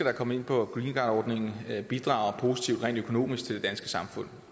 er kommet ind på greencardordningen bidrager positivt rent økonomisk til det danske samfund